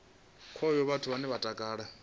khayo vhathu vhane vha takalela